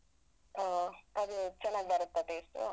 ಹ್ಮ. ಅದು ಚನ್ನಾಗ್ ಬರತ್ತಾ taste ಉ .